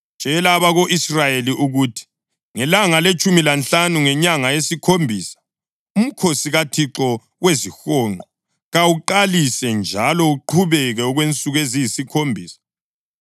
“Tshela abako-Israyeli ukuthi ngelanga letshumi lanhlanu ngenyanga yesikhombisa uMkhosi kaThixo weziHonqo kawuqalise njalo uqhubeke okwensuku eziyisikhombisa.